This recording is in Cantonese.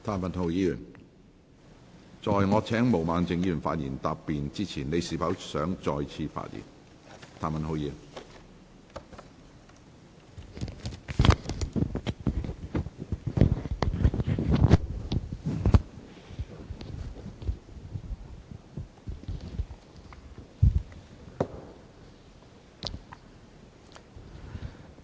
譚文豪議員，在我請毛孟靜議員發言答辯之前，你是否想再次發言？